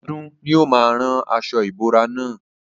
Ọdún ni ó máa rán aṣo ìbora na.